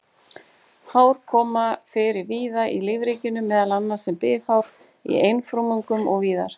Hár koma fyrir víða í lífríkinu, meðal annars sem bifhár í einfrumungum og víðar.